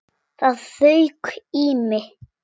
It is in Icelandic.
Það fauk í mig.